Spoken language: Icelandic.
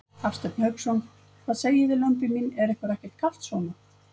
Hafsteinn Hauksson: Hvað segið þið lömbin mín, er ykkur ekkert kalt svona?